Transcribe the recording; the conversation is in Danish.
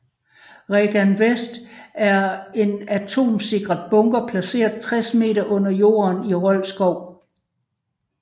REGAN Vest er en atomsikret bunker placeret 60 meter under jorden i Rold Skov